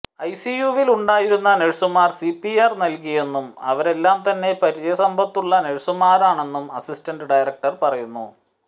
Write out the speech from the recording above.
ഐസിയുവിൽ ഉണ്ടായിരുന്ന നേഴ്സുമാർ സിപിആർ നൽകിയെന്നും അവരെല്ലാം തന്നെ പരിചയ സമ്പത്തുള്ള നേഴ്സുമാരാണെന്നും അസിസ്റ്റന്റ് ഡയറക്ടർ പറയുന്നു